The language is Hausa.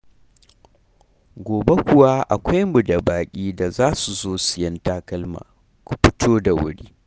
Gobe kuwa akwai mu da baƙi da za su zo sayen takalma, ku fito da wuri.